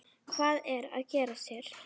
Hvað er að gerast hér?